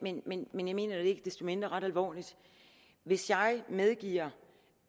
men men jeg mener det ikke desto mindre ret alvorligt hvis jeg medgiver